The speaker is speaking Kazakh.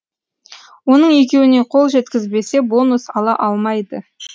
оның екеуіне қол жеткізбесе бонус ала алмайды